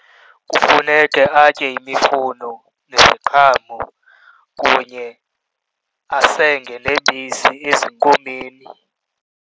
Kufuneke atye imifuno neziqhamo kunye asenge nebisi ezinkomeni.